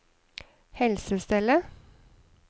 helsestellet